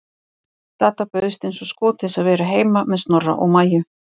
Dadda bauðst eins og skot til að vera heima með Snorra og Maju.